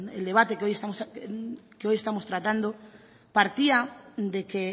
el debate que hoy estamos tratando partía de que